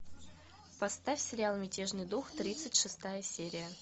поставь сериал мятежный дух тридцать шестая серия